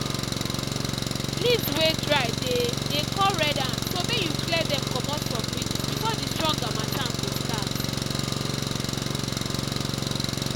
leaves wey dry dey dey call red ant so may you clear dem comot from ridges before the strong harmatttan go start